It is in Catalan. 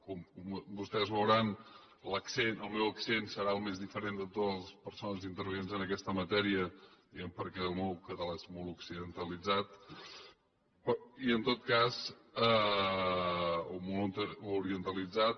com vostès veuran l’accent el meu accent serà el més diferent de totes les persones intervinents en aquesta matèria diríem perquè el meu català és molt poc occidentalitzat o molt orientalitzat